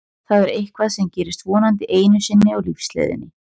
Það er eitthvað sem gerist vonandi einu sinni á lífsleiðinni.